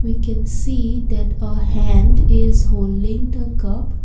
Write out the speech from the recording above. we can see that a hand is holding the cup.